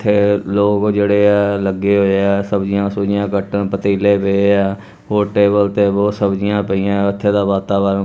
ਇੱਥੇ ਲੋਗ ਜਿਹੜੇ ਐ ਲੱਗੇ ਹੋਏ ਐ ਸਬਜੀਆਂ ਸੁਬਜੀਆਂ ਕੱਟਣ ਪਤੀਲੇ ਪਏ ਐ ਹੋਰ ਟੇਬਲ ਤੇ ਬਹੁਤ ਸਬਜੀਆਂ ਪਈਆਂ ਇੱਥੇ ਦਾ ਵਾਤਾਵਰਣ --